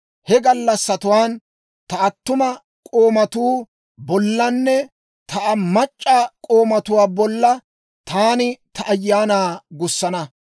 He gallassatuwaan ta attuma k'oomatuu bollanne ta mac'c'a k'oomatuu bolla taani ta Ayaanaa gussana.